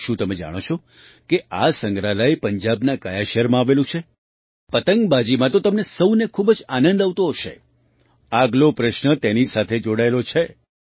શું તમે જાણો છો કે આ સંગ્રહાલય પંજાબના કયા શહેરમાં આવેલું છે પતંગબાજીમાં તો તમને સહુને ખૂબ જ આનંદ આવતો હશે આગલો પ્રશ્ન તેની સાથે જોડાયેલો છે